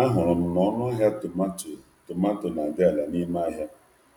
Achọpụtara m na um tomato um dị ọnụ ala n’ahịa